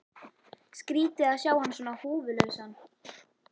Skrýtið að sjá hann svona húfulausan.